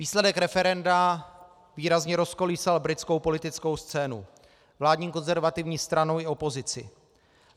Výsledek referenda výrazně rozkolísal britskou politickou scénu, vládní konzervativní stranu i opozici.